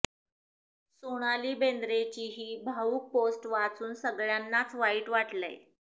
सोनाली बेंद्रेची ही भावुक पोस्ट वाचून सगळ्यांनाच वाईट वाटलंय